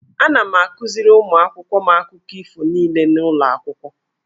Ana m akuziri ụmụ akwụkwọ m akụkọ ifo niile n'ụlọ akwụkwọ.